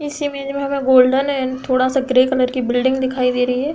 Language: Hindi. इस इमेज में हमें गोल्डन एंड थोड़ा-सा ग्रे कलर की बिल्डिंग दिखाई दे रही है।